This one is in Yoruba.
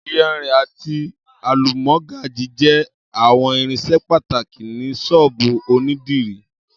Iyar ati alumọgaji jẹ awọn irinṣẹ pataki ni ṣóòbù onídìrí